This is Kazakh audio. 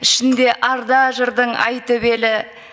ішінде арда жырдың ай төбелі